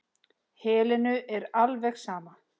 Helenu er alveg sama.